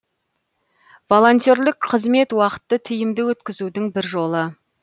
волонтерлік қызмет уақытты тиімді өткізудің бір жолы